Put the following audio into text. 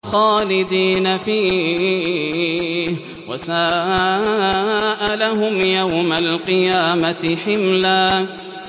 خَالِدِينَ فِيهِ ۖ وَسَاءَ لَهُمْ يَوْمَ الْقِيَامَةِ حِمْلًا